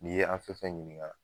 N'i ye an fɛn fɛn ɲiniŋa